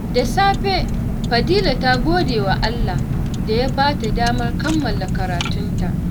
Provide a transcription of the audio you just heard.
Da safe, Fadila ta gode wa Allah da ya ba ta damar kammala karatunta.